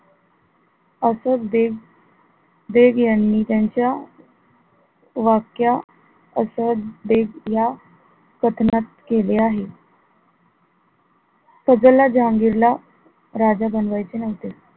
असाच देव, देव यांनी त्यांच्या वाक्या असद बेग या कथनात केले आहे. फजल हा जहांगीर ला राजा बनवायचे नव्हते.